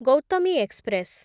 Gautami express